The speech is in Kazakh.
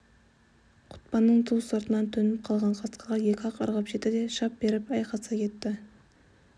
құтпанның ту сыртынан төніп қалған қасқырға екі-ақ ырғып жетті де шап беріп айқаса кетті